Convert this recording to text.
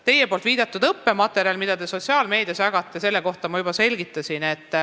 Teie viidatud õppematerjali kohta, mida te sotsiaalmeedias jagate, ma juba andsin selgitusi.